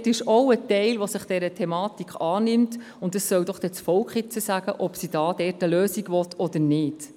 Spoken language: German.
Dort gibt es auch einen Teil, der sich dieser Problematik annimmt, und nun soll doch das Volk sagen, ob es dort eine Lösung will oder nicht.